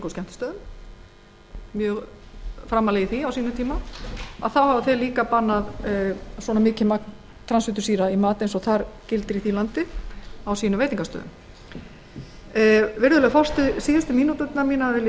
skemmtistöðum og voru mjög framarlega í því á sínum tíma nú hafa þau sem sagt bannað að notað sé svo mikið magn transfitusýra í mat sem leyfilegt er í bandaríkjunum á veitingastöðum í new york virðulegur forseti síðustu mínúturnar vil ég